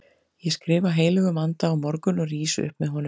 Ég skrifa heilögum anda á morgun og rís upp með honum.